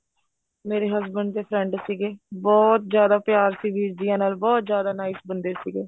ਮੇਰੇ husband ਦੇ friend ਸੀਗੇ ਬਹੁਤ ਜਿਆਦਾ ਪਿਆਰ ਸੀ ਵੀਰ ਜੀ ਨਾਲ ਬਹੁਤ ਜਿਆਦਾ nice ਬੰਦੇ ਸੀਗੇ